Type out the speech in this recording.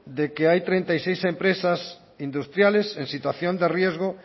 de que hay treinta y seis empresas industriales en situación de riesgo